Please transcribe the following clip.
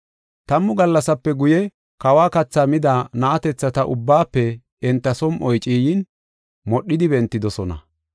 Tammu gallasape guye, kawa kathaa mida na7atethata ubbaafe enta som7oy ciiyin, modhidi bentidosona.